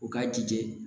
U k'a jija